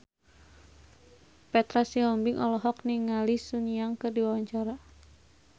Petra Sihombing olohok ningali Sun Yang keur diwawancara